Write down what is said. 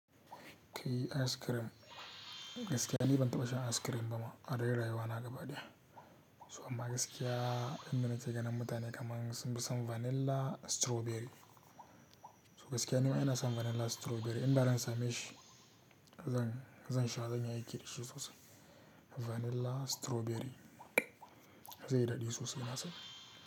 Kai, ice cream, gaskiya ni ban taɓa shan ice cream ba ma, a dai rayuwana gaba ɗaya. So amma gaskiya inda na ke ganin mutane kaman sun fi son vanilla, strawberry. To gaskiya, nima ina son in gwada na strawberry, in da zan same shi, zan, zan sha zan yi aiki da shi sosai. Vanilla, strawberry, zai yi daɗi sosai na san.